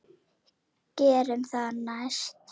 Gerum það næst.